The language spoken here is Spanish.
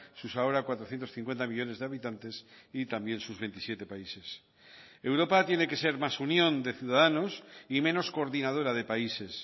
sus ahora cuatrocientos cincuenta millónes de habitantes y también sus veintisiete países europa tiene que ser más unión de ciudadanos y menos coordinadora de países